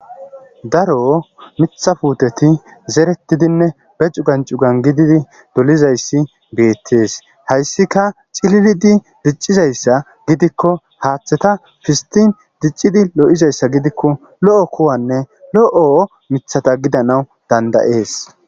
Daro miththa puteti zeretiddinne bee cugan cugani gididi dolizayiss betees.hayissikka cililidi dicizayissa gidikko haththeta pisiti diccido lo'izayissa gidikko lo'o kuwanne lo'o miththata gidanawu danida'ees.